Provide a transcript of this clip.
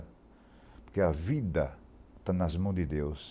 Porque a vida está nas mãos de Deus.